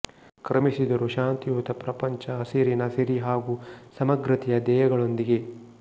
ಕ್ರಮಿಸಿದರು ಶಾಂತಿಯುತ ಪ್ರಪಂಚ ಹಸಿರಿನ ಸಿರಿ ಹಾಗೂ ಸಮಗ್ರತೆಯ ಧ್ಯೇಯಗಳೊಂದಿಗೆ